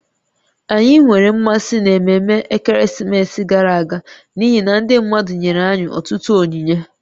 Anyị nwere mmasị n'ememme ekeresimesi gara aga n'ihi na ndị mmadụ nyere anyị ọtụtụ onyinye